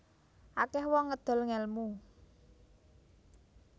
Akeh wong ngedol ngelmu